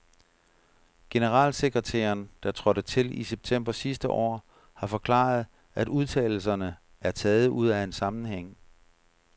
Generalsekretæren, der trådte til i september sidste år, har forklaret, at udtalelserne er taget ud af en sammenhæng.